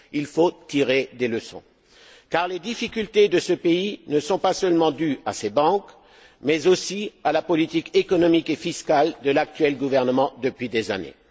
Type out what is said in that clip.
Il faut tirer des leçons, car les difficultés de ce pays ne sont pas seulement dues à ses banques, mais aussi à la politique économique et fiscale de l'actuel gouvernement depuis des années.